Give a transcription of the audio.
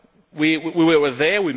We were there.